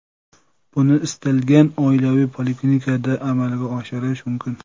Buni istalgan oilaviy poliklinikada amalga oshirish mumkin.